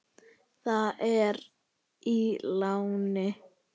Það er í láni.